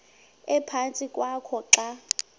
ephantsi kwakho xa